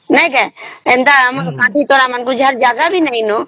ଏଟା ଆମର ବାଂଟିଦେବା ଯାହାର ଜାଗା ବି ନାଇନ